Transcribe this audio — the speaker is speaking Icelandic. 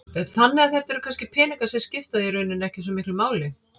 Þannig að þetta eru kannski peningar sem skipta þig í rauninni ekki svo miklu máli?